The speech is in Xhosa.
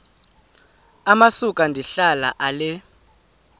amasuka ndihlala ale